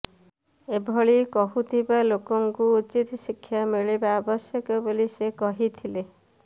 ଏଭଳି କହୁଥିବା ଲୋକଙ୍କୁ ଉଚିତ ଶିକ୍ଷା ମିଳିବା ଆବଶ୍ୟକ ବୋଲି ସେ କହିଥିଲେ